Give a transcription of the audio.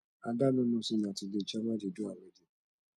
ada no know say na today chioma dey do her wedding